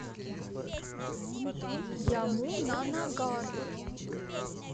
ямунанагар